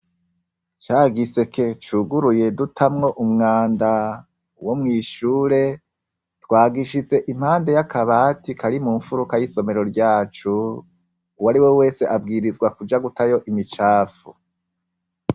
Ca giseke cuguruye dutamwo umwanda wo mw'ishure, twagishize impande y'akabati Kari mu mfuruka y'isomero ryacu, uwari we wese abwirizwa kuja gutayo imicafu.